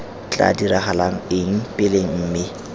tla diragala eng pele mme